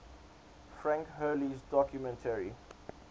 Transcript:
frank hurley's documentary